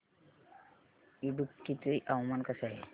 इडुक्की चे हवामान कसे आहे